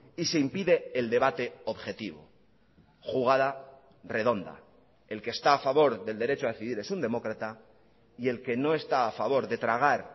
y se impide el debate objetivo jugada redonda el que está a favor del derecho a decidir es un demócrata y el que no está a favor de tragar